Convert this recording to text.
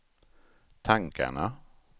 tankarna